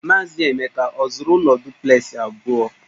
Maazị Emeka ọ zụrụ ụlọ duplexị abụọ?